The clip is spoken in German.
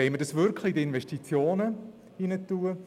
Wollen wir dies wirklich für Investitionen verwenden?